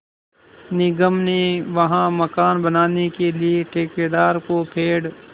निगम ने वहाँ मकान बनाने के लिए ठेकेदार को पेड़